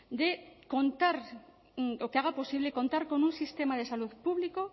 de contar o que haga posible contar con un sistema de salud público